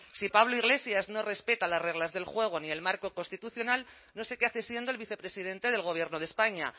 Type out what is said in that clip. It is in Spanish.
si pablo iglesias no respeta las reglas del juego ni el marco constitucional no sé qué hace siendo el vicepresidente del gobierno de españa